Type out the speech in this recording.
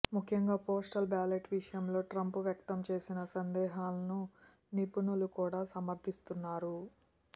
ముఖ్యంగా postal ballot విషయంలో Trump వ్యక్తం చేసిన సందేహాలను నిపుణులు కూడా సమర్ధిస్తున్నారు